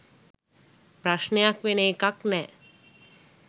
ප්‍රශ්නයක් වෙන එකක් නෑ